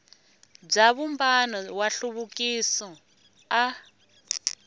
bya vumbano wa nhluvukiso a